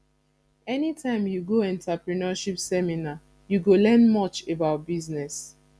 anytime you go entrepreneurship seminar you go learn much about business